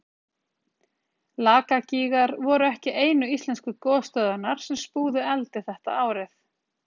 lakagígar voru ekki einu íslensku gosstöðvarnar sem spúðu eldi þetta árið